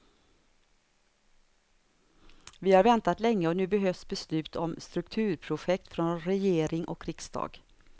Vi har väntat länge och nu behövs beslut om strukturprojekt från regering och riksdag.